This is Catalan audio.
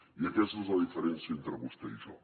i aquesta és la diferència entre vostè i jo